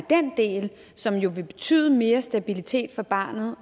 som jo vil betyde mere stabilitet for barnet